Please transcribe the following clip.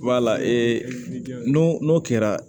Wala n'o n'o kɛra